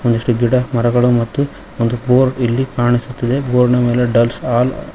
ಮ್ಸ್ ಗಿಡ ಮರಗಳು ಮತ್ತು ಒಂದು ಫೋರ್ ಇಲ್ಲಿ ಕಾಣಸ್ತಿದೆ ಬೋರ್ಡ್ ನಾ ಮೇಲೆ ಡಲ್ಸ್ ಅಲ್ --